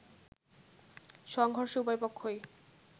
সংঘর্ষে উভয়পক্ষই